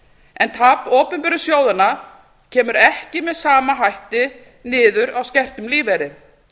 en tap opinberu sjóðanna kemur ekki með sama hætti niður á skertum lífeyri